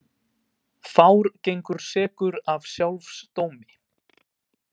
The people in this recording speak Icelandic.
Fár gengur sekur af sjálfs dómi.